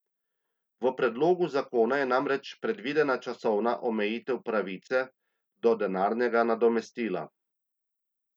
V predlogu zakona je namreč predvidena časovna omejitev pravice do denarnega nadomestila.